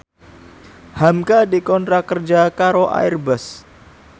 hamka dikontrak kerja karo Airbus